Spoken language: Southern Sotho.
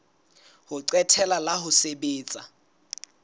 ho qetela la ho sebetsa